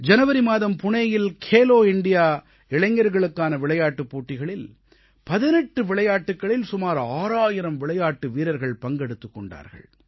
ஜனவரி மாதம் புனேயில் கேலோ இண்டியா இளைஞர்களுக்கான விளையாட்டுப் போட்டிகளில் 18 விளையாட்டுக்களில் சுமார் 6000 விளையாட்டு வீரர்கள் பங்கெடுத்துக் கொண்டார்கள்